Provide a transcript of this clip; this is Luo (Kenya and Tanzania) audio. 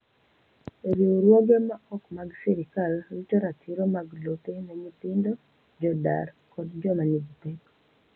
Riwruoge ma ok mag sirkal rito ratiro mag lope ne nyithindo, jodar kod joma nigi pek.